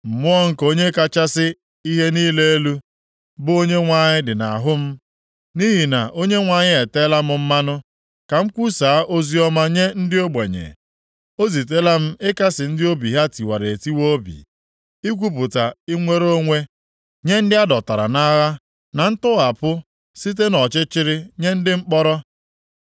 Mmụọ nke Onye kachasị ihe niile elu, bụ Onyenwe anyị dị nʼahụ m, nʼihi na Onyenwe anyị eteela m mmanụ ka m kwusaa oziọma nye ndị ogbenye. O zitela m ịkasị ndị obi ha tiwara etiwa obi, ikwupụta inwere onwe nye ndị a dọtara nʼagha, na ntọghapụ site nʼọchịchịrị nye ndị mkpọrọ. + 61:1 Imeghe anya ndị kpuru ìsì